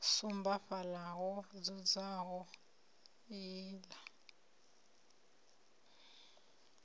sumba fhaḽa ho dzulaho iḽla